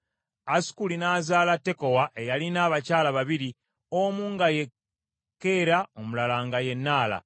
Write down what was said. Asukuli n’azaala Tekowa eyalina abakyala babiri omu nga ye Keera omulala nga ye Naala.